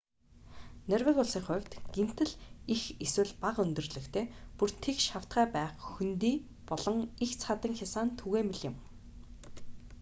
норвеги улсын хувьд гэнэт л их эсвэл бага өндөрлөгтэй бүр тэгш хавтгай байх хөндий болон эгц хадан хясаа нь түгээмэл юм